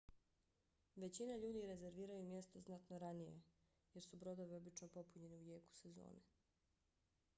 većina ljudi rezerviraju mjesto znatno ranije jer su brodovi obično popunjeni u jeku sezone